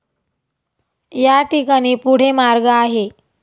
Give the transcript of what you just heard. या ठिकाणी पुढे मार्ग आहे.